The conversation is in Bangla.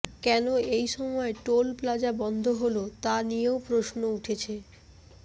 কেন এই সময় টোল প্লাজা বন্ধ হল তা নিয়েও প্রশ্ন উঠছে